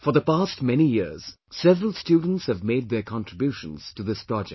For the past many years, several students have made their contributions to this project